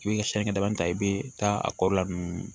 I bɛ ka siɲɛ dama ta i bɛ taa a kɔ la ninnu